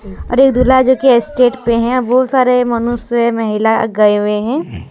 अरे दूल्हा जो की स्टेट पे है और सारे मनुष्य महिला गए हुए हैं।